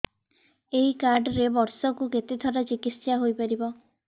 ଏଇ କାର୍ଡ ରେ ବର୍ଷକୁ କେତେ ଥର ଚିକିତ୍ସା ହେଇପାରିବ